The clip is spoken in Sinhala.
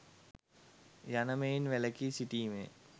යන මෙයින් වැලකී සිටීමය.